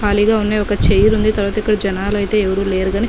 ఖాళీగా ఉన్నాయ్ ఒక చైర్ ఉంది తరువాత ఇక్కడ జనాలు అయితే ఎవరూ లేరు గాని --.